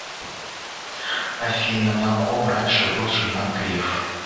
афина на ком раньше был женат греф